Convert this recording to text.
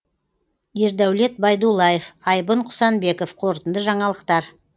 ердәулет байдуллаев айбын құсанбеков қорытынды жаңалықтар